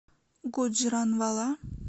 гуджранвала